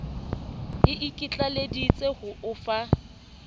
e ikitlaleditse ho o fa